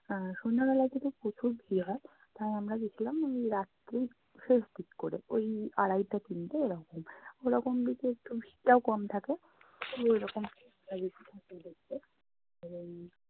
আহ সন্ধ্যা বেলার থেকে প্রচুর ভিড় হয়। তাই আমরা গেছিলাম ওই রাত্রির শেষ দিক করে। ওই আড়াইটা তিনটে এরকম। ওরকম দিকে একটু ভিড়টাও কম থাকে। দেখতে এবং